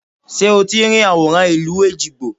Ṣé o ti ń rí àwòrán ìlú Èjìgbò?